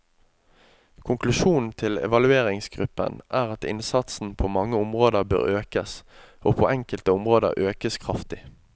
Konklusjonen til evalueringsgruppen er at innsatsen på mange områder bør økes, og på enkelte områder økes kraftig.